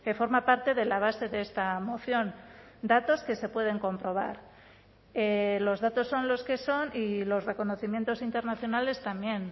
forma parte de la base de esta moción datos que se pueden comprobar los datos son los que son y los reconocimientos internacionales también